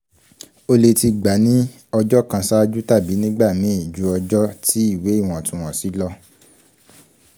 o le ti gba ni ọjọ kan ṣaaju tabi nigbamii ju ọjọ ti iwe iwọntunwọnsi lọ